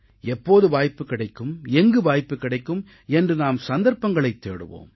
எப்போது வாய்ப்பு கிடைக்கும் எங்கு வாய்ப்பு கிடைக்கும் என்று நாம் சந்தர்ப்பங்களைத் தேடுவோம்